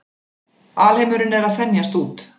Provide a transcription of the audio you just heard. Alheimurinn er að þenjast út.